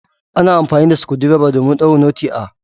Ana amfani da Sukundirba domin daure notti ah.